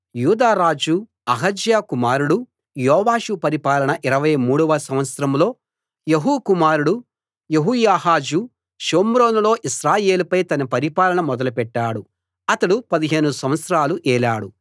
యూదా రాజు అహజ్యా కుమారుడు యోవాషు పరిపాలనలో 23 వ సంవత్సరంలో యెహూ కుమారుడు యెహోయాహాజు షోమ్రోనులో ఇశ్రాయేలుపై తన పరిపాలన మొదలు పెట్టాడు అతడు 15 సంవత్సరాలు ఏలాడు